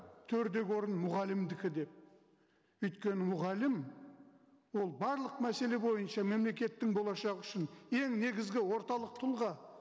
төрдегі орын мұғалімдікі деп өйткені мұғалім ол барлық мәселе бойынша мемлекеттің болашағы үшін ең негізгі орталық тұлға